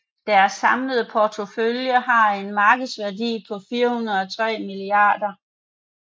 Deres samlede portefølje har en markedsværdi på 403 mia